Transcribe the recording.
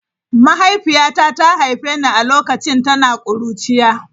Mahaifiyata ta haife ni a lokacin tana kuruciya.